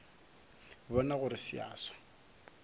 bona gore se a swa